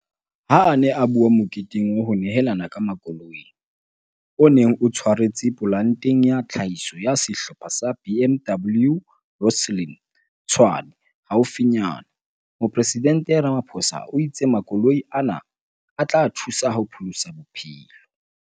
Ha a ne a bua moketeng wa ho nehelana ka makoloi, o neng o tshwaretswe polanteng ya tlhahiso ya Sehlopha sa BMW Rosslyn, Tshwane, haufinyana, Moporesidente Ramaphosa o itse makoloi ana a tla thusa ho pholosa bophelo.